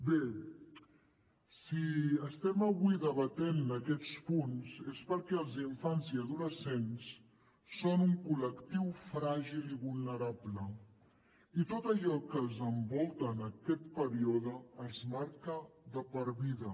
bé si estem avui debatent aquests punts és perquè els infants i adolescents són un col·lectiu fràgil i vulnerable i tot allò que els envolta en aquest període els marca de per vida